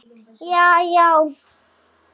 já já